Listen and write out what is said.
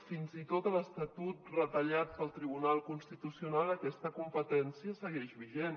fins i tot a l’estatut retallat pel tribunal constitucional aquesta competència segueix vigent